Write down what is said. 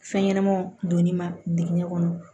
Fɛn ɲɛnɛmanw donni ma digɛn kɔnɔ